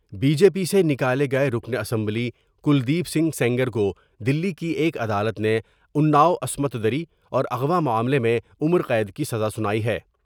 Be J P سے نکالے گئے رکن اسمبلی کلدیپ سنگھ سینگر کودلی کی ایک عدالت نے انا ؤعصمت دری اور اغواءمعاملے میں عمر قید کی سزا سنائی ہے۔